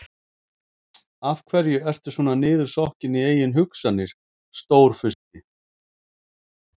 Af hverju ertu svona niðursokkinn í eigin hugsanir, Stórfursti?